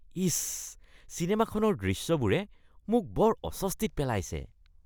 ইচ! চিনেমাখনৰ দৃশ্যবোৰে মোক বৰ অস্বস্তিত পেলাইছে।